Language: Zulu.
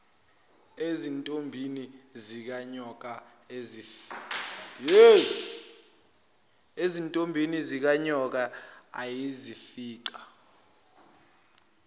ezintombini zikanyoka ayezifica